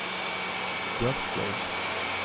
Bjarkøy